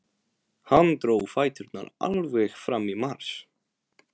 Hann dró fæturna alveg fram í mars.